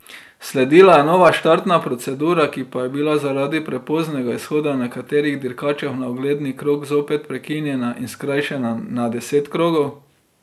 Sledila je nova štartna procedura, ki pa je bila zaradi prepoznega izhoda nekaterih dirkačev na ogledni krog zopet prekinjena in skrajšana na deset krogov.